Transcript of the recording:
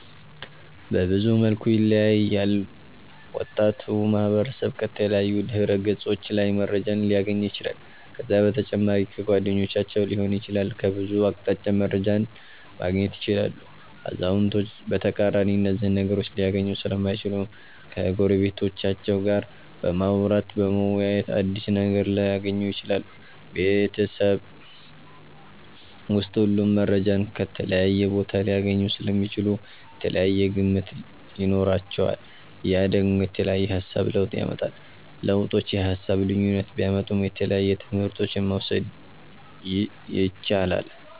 በብዙ መልኩ ይለያያል ወጣቱ ማህበረሰብ ከተለያዩ ድህረ ገፆች ላይ መረጃን ሊያገኝ ይችላል ከዛ በተጨማሪ ከጓደኞቻቸዉ ሊሆን ይችላል ከብዙ አቅጣጫ መረጃን ማገኘት ይችላሉ አዛዉነቶች በተቃራኒ እነዚህን ነገሮች ሊያገኙ ሰለማይችሉ ከጎረቤቶቻቸዉ ጋር በማዉራተ በመወያየት አዲስ ነገር ሊያገኙ ይችላሉ። ቤበተሰብ ዉስጥ ሁሉም መረጃን ከተለያየ ቦታ ሊያገኙ ሰለሚችሉ የተለያየ ግምት ይኖራቸዋል ያ ደግሞ የተለያየ የሃሳብ ለዉጥ ያመጣል። ለዉጦቹ የሃሳብ ልዩነት ቢያመጡም የተለያየ ትምህረቶችን መዉሰድ የቻላል